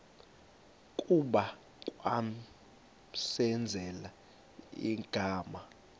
kuba kwamenzela igama